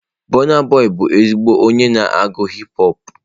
Burna boị bụ ezigbo onye na-agụ hip họpụ.